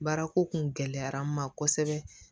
Baarako kun gɛlɛyara n ma kosɛbɛ